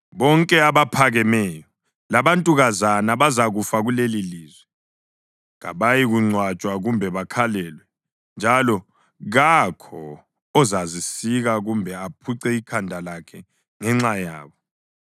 “Bonke abaphakemeyo labantukazana bazakufa kulelilizwe. Kabayikungcwatshwa kumbe bakhalelwe, njalo kakho ozazisika kumbe aphuce ikhanda lakhe ngenxa yabo.